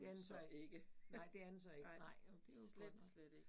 Så, nej det er den så ikke, nej, jo det jo godt nok